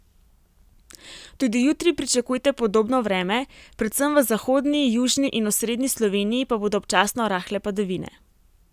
Tudi jutri pričakujte podobno vreme, predvsem v zahodni, južni in osrednji Sloveniji pa bodo občasno rahle padavine.